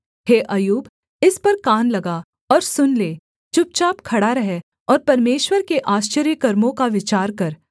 हे अय्यूब इस पर कान लगा और सुन ले चुपचाप खड़ा रह और परमेश्वर के आश्चर्यकर्मों का विचार कर